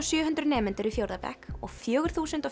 sjö hundruð nemendur í fjórða bekk og fjögur þúsund